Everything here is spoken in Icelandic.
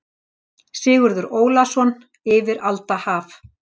Sigurður Ólason: Yfir alda haf.